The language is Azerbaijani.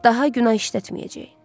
Daha günah işlətməyəcək.